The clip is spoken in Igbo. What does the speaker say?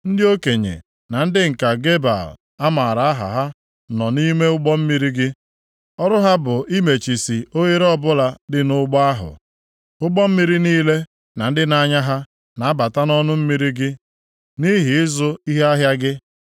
Ndị okenye na ndị nka Gebal a maara aha ha nọ nʼime ụgbọ mmiri gị. Ọrụ ha bụ imechisi oghere ọbụla dị nʼụgbọ ahụ. Ụgbọ mmiri niile na ndị na-anya ha na-abata nʼọnụ mmiri gị nʼihi ịzụ ihe ahịa gị.